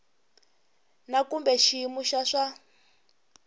na kumbe xiyimo xa swa